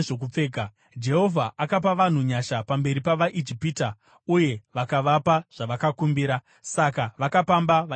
Jehovha akapa vanhu nyasha pamberi pavaIjipita, uye vakavapa zvavakakumbira; saka vakapamba vaIjipita.